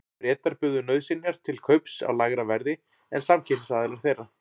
Bretar buðu nauðsynjar til kaups á lægra verði en samkeppnisaðilar þeirra.